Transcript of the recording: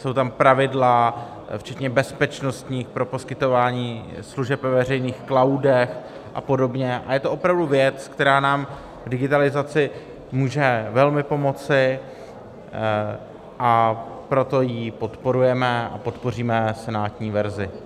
Jsou tam pravidla včetně bezpečnostních pro poskytování služeb ve veřejných cloudech a podobně a je to opravdu věc, která nám k digitalizaci může velmi pomoci, a proto ji podporujeme a podpoříme senátní verzi.